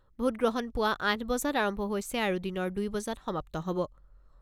Vote গ্ৰহণ পুৱা আঠ বজাত আৰম্ভ হৈছে আৰু দিনৰ দুই বজাত সমাপ্ত হ'ব।